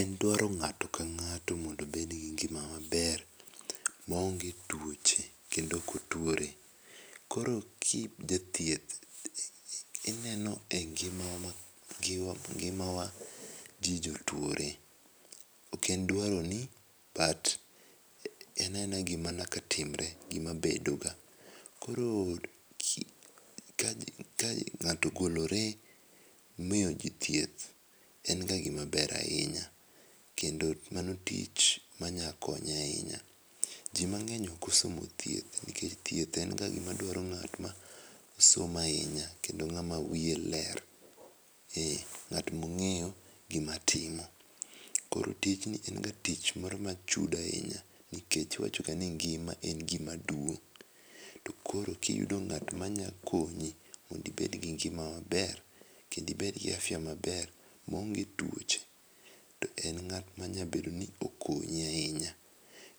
En dwaro ng'at ka ng'ato mondo obed gi ngima maber maonge twoche kendo ko otuore. Koro ki ijathieth ineno e ngima ni ngima wa ji jotuore ok en dwaroni but ena ena gi ma nyaka timre gi ma bedo ga. koro ka ng'ato ogolore miyo ji thieth en ga gi maber ahinya kendo mano tich ma nya konyo ahinya. Ji mang'eny ok osomo thieth nikech thieth en ga ji ma dwaro jo ma osomo ahinya kendo ng'a ma wiye ler. Ee, ng'at ma ong'eyo gi ma timo koro tijni en ga tich ma chudo ahinya nikechn iwach ga ngima en gi ma duong koro ki iyudo ngat ma nya konyi mondo ibed gi ngima maber kendo ibed gi afya maber maaonge tuoche to en ngat ma nya bedo ni okonyi ahinya.